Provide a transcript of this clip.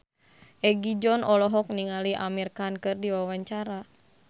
Egi John olohok ningali Amir Khan keur diwawancara